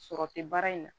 Sɔrɔ tɛ baara in na